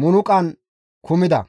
munuqan kumida.